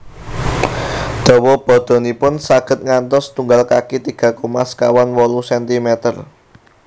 Dawa badanipun saged ngantos setunggal kaki tiga koma sekawan wolu sentimeter